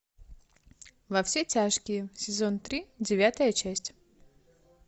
во все тяжкие сезон три девятая часть